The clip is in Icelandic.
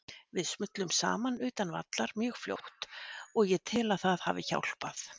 Við smullum saman utan vallar mjög fljótt og ég tel að það hafi hjálpað.